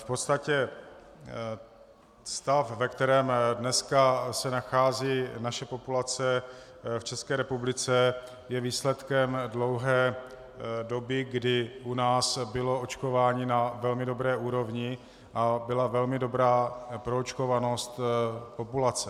V podstatě stav, ve kterém se dneska nachází naše populace v České republice, je výsledkem dlouhé doby, kdy u nás bylo očkování na velmi dobré úrovni a byla velmi dobrá proočkovanost populace.